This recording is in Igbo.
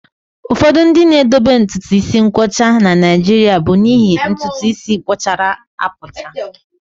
Ụfọdụ ndị na-edobe ntutu isi nkwọcha na Naịjirịa bụ n'ihi ntutu isi puchara apucha